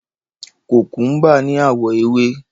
Kòkúḿbà ní àwọ̀ ewé.